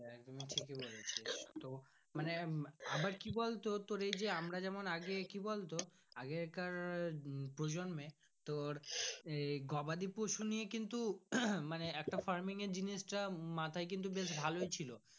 মানে আবার কি বলতো তোর এই যে আমরা যেমন আগে কি বলতো আগে কার প্রজন্মে তোর এই গবাদি পশু আহ মানে একটা farming জিনিস টা মাথায় কিন্তু বেশ ভালোই ছিল।